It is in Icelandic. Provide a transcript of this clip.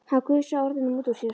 Hann gusaði orðunum út úr sér.